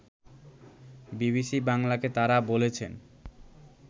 BBC বাংলাকে তারা বলেছেন